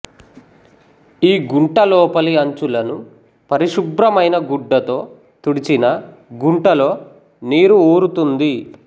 ఈ గుంట లోపలి అంచులను పరిశుభ్రమైన గుడ్డతో తుడిచినా గుంటలో నీరు ఊరుతుంది